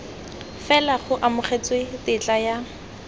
fela go amogetswe tetla ya